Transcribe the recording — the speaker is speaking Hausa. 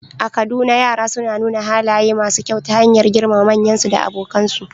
A Kaduna, yara suna nuna halaye masu kyau ta hanyar girmama manyansu da abokansu